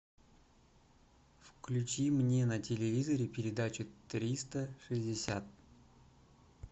включи мне на телевизоре передачу триста шестьдесят